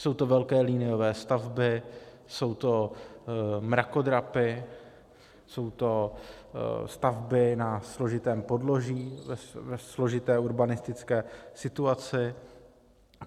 Jsou to velké liniové stavby, jsou to mrakodrapy, jsou to stavby na složitém podloží ve složité urbanistické situaci.